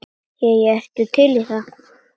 Jæja, ertu til í það?